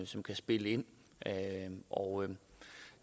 som kan spille ind og